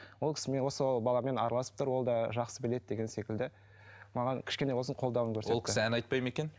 ол кісімен осы баламен араласып тұр ол да жақсы біледі деген секілді маған кішкене болсын қолдауын көрсетті ол кісі ән айтпайды ма екен